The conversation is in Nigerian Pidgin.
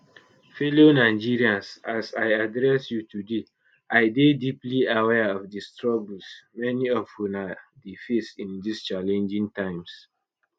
fellow nigerians as i address you today i dey deeply aware of di struggles many of una dey face in dis challenging times